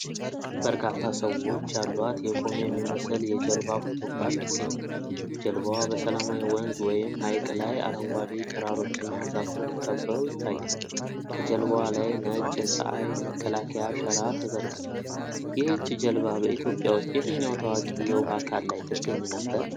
በርካታ ሰዎች ያሏት የቆየ የሚመስል የጀልባ ፎቶግራፍ ይገኛል። ጀልባዋ በሰላማዊ ወንዝ ወይም ሐይቅ ላይ አረንጓዴ ተራሮችና ዛፎች ከበው ይታያል። ከጀልባዋ ላይ ነጭ የፀሐይ መከላከያ ሸራ ተዘርግቷል። ይህች ጀልባ በኢትዮጵያ ውስጥ የትኛው ታዋቂ የውሃ አካል ላይ ትገኝ ነበር?